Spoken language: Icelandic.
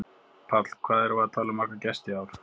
Páll: Hvað erum við að tala um marga gesti í ár?